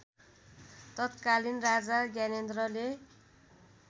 तत्कालीन राजा ज्ञानेन्द्रले